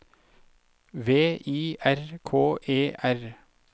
V I R K E R